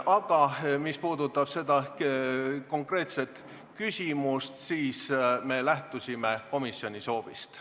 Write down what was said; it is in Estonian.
Aga mis puudutab seda konkreetset küsimust, siis me lähtusime komisjoni soovist.